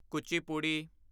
Kuchipudi